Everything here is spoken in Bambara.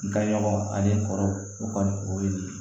N ka ɲɔgɔn ani kɔɔri o kɔni o ye nin ye